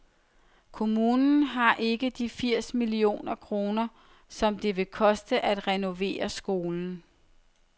Kommunen har ikke de firs millioner kroner, som det vil koste at renovere skolen.